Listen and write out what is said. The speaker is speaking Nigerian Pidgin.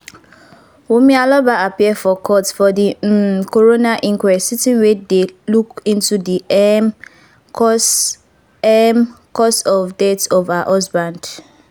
wunmi aloba appear for court for di um coroner inquest sitting wey dey look into di um cause um cause of death of her husband.